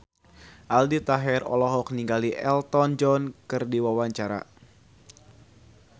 Aldi Taher olohok ningali Elton John keur diwawancara